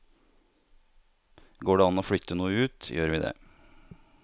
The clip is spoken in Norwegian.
Går det an å flytte noe ut, gjør vi det.